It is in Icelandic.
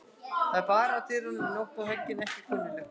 Það er barið á dyrnar um nótt og höggin ekki kunnugleg.